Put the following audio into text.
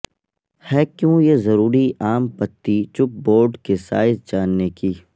ہے کیوں یہ ضروری عام پتی چپ بورڈ کے سائز جاننے کی